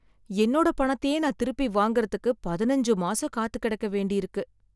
என்னோட பணத்தையே நான் திருப்பி வாங்கறதுக்கு பதுனஞ்சு மாசம் காத்துக்கெடக்க வேண்டியிருக்கு